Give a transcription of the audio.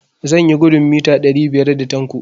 Zan yi gudun mita ɗari biyar da Tanko.